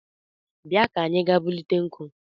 Bia ka anyị gaa bute nkụ